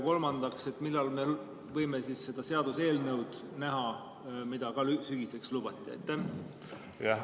Kolmandaks, millal me võime seda seaduseelnõu näha, mida sügiseks lubati?